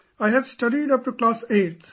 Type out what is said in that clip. I have studied up to class 8th